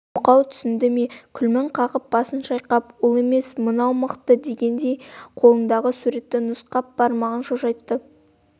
мылқау түсінді ме күлмің қағып басын шайқап ол емес мынау мықты дегендей қолындағы суретті нұсқап бармағын шошайтты